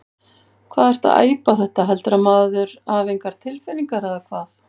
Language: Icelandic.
Hvað ertu að æpa þetta. heldurðu að maður hafi engar tilfinningar eða hvað?